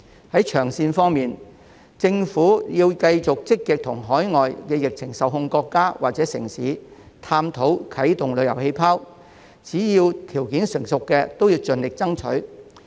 在長線方面，政府要繼續積極與海外的疫情受控國家或城市探討啟動旅遊氣泡，只要條件成熟的便應盡力爭取。